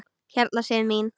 Hérna Sif mín.